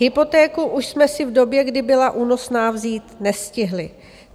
Hypotéku už jsme si v době, kdy byla únosná, vzít nestihli.